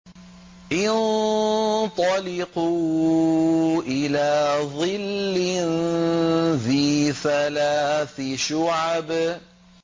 انطَلِقُوا إِلَىٰ ظِلٍّ ذِي ثَلَاثِ شُعَبٍ